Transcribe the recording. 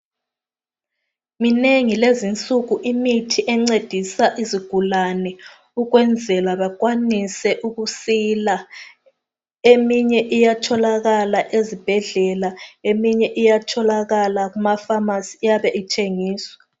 Minengi lezinsuku imithi encedisa izigulane ukwenzela bakwanise ukusila eminye iyatholakala ezibhedlela eminye iyatholakala kemakhemisi iyabe ithengiswa.